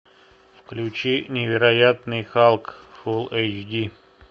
включи невероятный халк фулл эйч ди